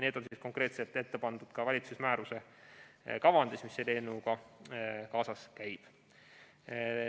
Need on konkreetselt ette pandud ka valitsuse määruse kavandis, mis selle eelnõuga kaasas käib.